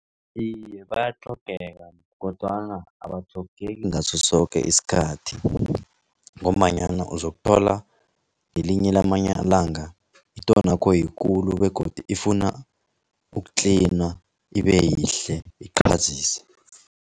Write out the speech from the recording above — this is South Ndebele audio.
Iye, bayatlhogeka kodwana abatlhogeki ngasosoke isikhathi ngombanyana uzokuthola ngelinye lamalanga itonakho yikulu begodu ifuna ukutlinwa ibeyihle iqhazise.